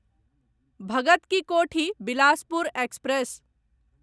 Bhagat ki Kothi Bilaspur express